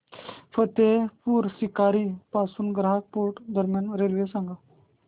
फतेहपुर सीकरी पासून आग्रा फोर्ट दरम्यान रेल्वे सांगा